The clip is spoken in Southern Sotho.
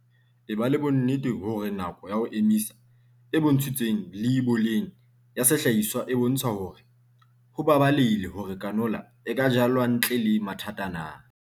Eba le bonnete hore nako ya ho emisa, e bontshitsweng leiboleng ya sehlahiswa e bontsha hore ho baballehile hore canola e ka jalwa ntle le mathata na.